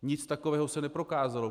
Nic takového se neprokázalo.